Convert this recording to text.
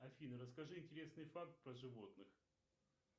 афина расскажи интересный факт про животных